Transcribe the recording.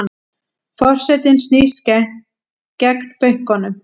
Forsetinn snýst gegn bönkunum